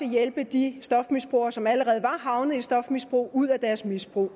hjælpe de stofmisbrugere som allerede var havnet i stofmisbrug ud af deres misbrug